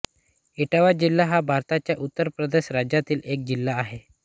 इटावा जिल्हा हा भारताच्या उत्तर प्रदेश राज्यातील एक जिल्हा आहे